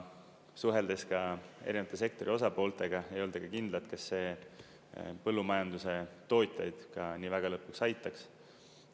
Suheldes ka erinevate sektori osapooltega, ei olda kindlad, kas see põllumajanduse tootjaid ka nii väga lõpuks aitaks.